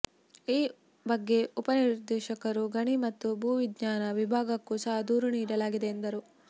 ಈ ಬಗ್ಗೆ ಉಪ ನಿರ್ದೇಶಕರು ಗಣಿ ಮತ್ತು ಭೂವಿಜ್ಞಾನ ವಿಭಾಗಕ್ಕೂ ಸಹ ದೂರು ನೀಡಲಾಗಿದೆ ಎಂದರು